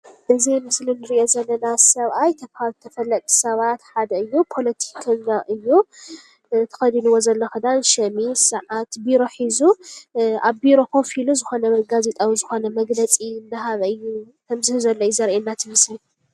እዚ ኣብ ምስሊ ንሪኦ ዘለና ሰብኣይ ካብ ተፈለጥቲ ሰባት ሓደ እዩ፡፡ ውሩይ ፖለቲከኛ እዩ፡፡ ተኸዲንዎ ዘሎ ኽዳን ሸሚዝ ቢሮ ሒዙ ኣብ ቢሮ ኮፍ ኢሉ ዝኾነ ጋዜጣ ወይ ዝኾነ ነገር መግለፂ ከምዝህብ ዘሎ እዩ ዘርእየና እቲ ምስሊ፡፡